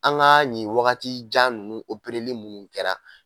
An ga nin wagati jan nunnu opereli munnu kɛra